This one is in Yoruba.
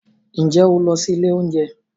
Ǹjẹ́ ó lọ sí ilé oúnjẹ